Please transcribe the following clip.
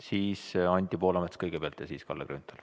Sellisel juhul küsib Anti Poolamets kõigepealt ja siis Kalle Grünthal.